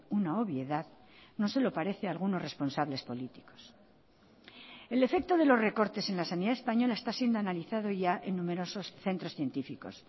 una obviedad no se lo parece a algunos responsables políticos el efecto de los recortes en la sanidad española está siendo analizado ya en numerosos centros científicos